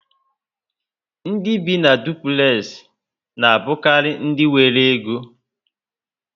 Ndị bi na dupulexi na abukari ndị nwéré Égó